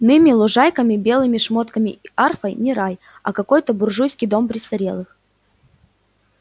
ными лужайками белыми шмотками и арфой не рай а какой-то буржуйский дом престарелых